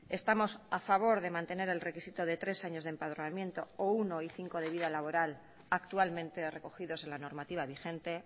estamos a favor de mantener el requisito de tres años de empadronamiento o uno y cinco de vida laboral actualmente recogidos en la normativa vigente